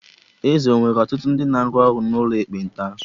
Eze ọ̀ were ọtụtụ ndị ga-arụ ọrụ n'ụlọ ekpenta?